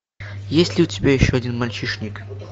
есть ли у тебя еще один мальчишник